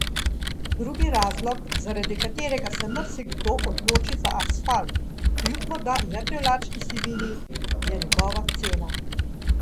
Drugi razlog, zaradi katerega se marsikdo odloči za asfalt kljub morda neprivlačni sivini, je njegova cena.